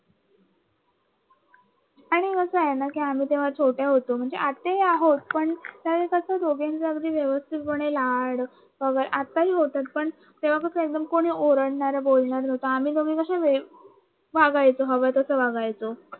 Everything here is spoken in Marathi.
कसं आहे नाआम्ही तेव्हा छोटं होतं म्हणजे आताही आहोत पण कसं दोघींचं व्यवस्थितपणे लाड आताही होतात पण तेव्हा कसं कोणी ओरडणार बोलणार नव्हतं आम्ही दोघी कस वागयचो हवं तसं वागायचं